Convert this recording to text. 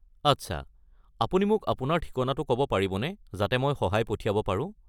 আচ্ছা; আপুনি মোক আপোনাৰ ঠিকনাটো ক'ব পাৰিবনে যাতে মই সহায় পঠিয়াব পাৰো।